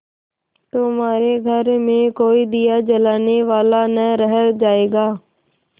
तुम्हारे घर में कोई दिया जलाने वाला न रह जायगा